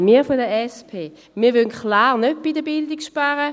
Nein, wir von der SP wollen klar nicht bei der Bildung sparen!